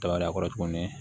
Kaba kɔrɔ tuguni